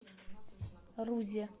рузе